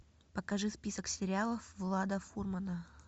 покажи список сериалов влада фурмана